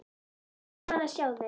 Gaman að sjá þig.